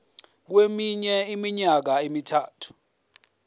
kweminye iminyaka emithathu